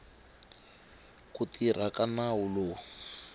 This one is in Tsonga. ku tirha ka nawu lowu